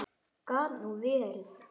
Gat nú verið!